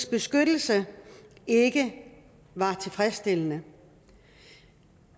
beskyttelse ikke var tilfredsstillende